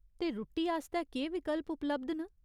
ते रुट्टी आस्तै केह् विकल्प उपलब्ध न ?